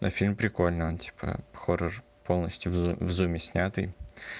фильм прикольно он типа хорошо полностью в зуме снятый